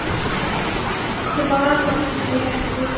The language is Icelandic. Hvannabrekku